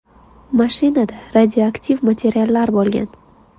Mashinada radioaktiv materiallar bo‘lgan.